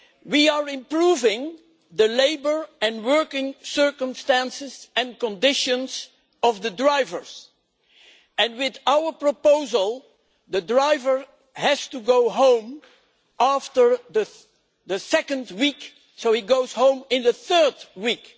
We are improving the labour and working circumstances and conditions of the drivers, and with our proposal a driver has to go home after the second week so he goes home in the third week.